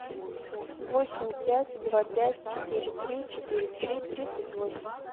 восемь пять два пять четыре три четыре три тридцать восемь